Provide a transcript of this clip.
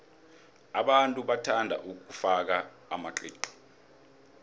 abantu bathanda ukufaka amaqiqi